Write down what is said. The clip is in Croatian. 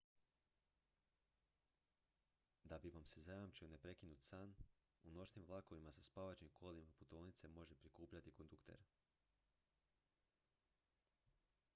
da bi vam se zajamčio neprekinut san u noćnim vlakovima sa spavaćim kolima putovnice može prikupljati kondukter